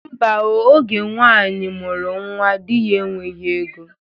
Ḿbà o, oge nwaanyị mụrụ nwa, dị ya enweghị ego.